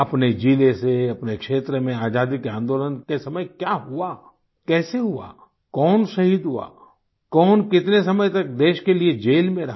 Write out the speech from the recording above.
अपने जिले से अपने क्षेत्र में आज़ादी के आन्दोलन के समय क्या हुआ कैसे हुआ कौन शहीद हुआ कौन कितने समय तक देश के लिए ज़ेल में रहा